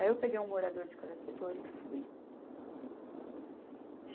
Aí eu peguei um morador de cada setor e fui.